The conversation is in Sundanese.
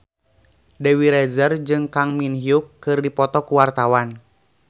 Dewi Rezer jeung Kang Min Hyuk keur dipoto ku wartawan